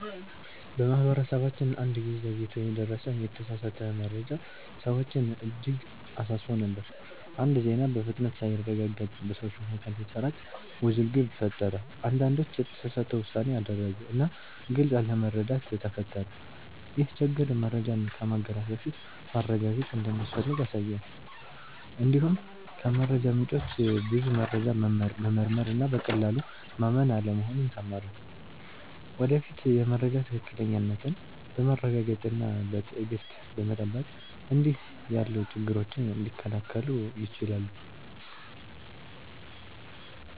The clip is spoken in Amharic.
በማህበረሰባችን አንድ ጊዜ ዘግይቶ የደረሰ የተሳሳተ መረጃ ሰዎችን እጅግ አሳስቦ ነበር። አንድ ዜና በፍጥነት ሳይረጋገጥ በሰዎች መካከል ሲሰራጭ ውዝግብ ፈጠረ። አንዳንዶች የተሳሳተ ውሳኔ አደረጉ እና ግልጽ አለመረዳት ተፈጠረ። ይህ ችግር መረጃን ከማጋራት በፊት ማረጋገጥ እንደሚያስፈልግ አሳየን። እንዲሁም ከመረጃ ምንጮች ብዙ መረጃ መመርመር እና በቀላሉ ማመን አለመሆኑን ተማርን። ወደፊት የመረጃ ትክክለኛነትን በማረጋገጥ እና በትዕግሥት በመጠበቅ እንዲህ ያሉ ችግሮች ሊከላከሉ ይችላሉ።